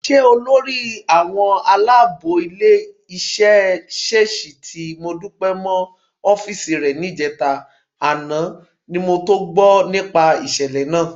Ṣe lolórí àwọn aláàbò ilé-iṣẹ́ ṣèṣì ti Modúpẹ́ mọ́ ọ́fíìsì rẹ níjẹta, àná ni mo tó gbọ́ nípa ìṣẹ̀lẹ̀ náà.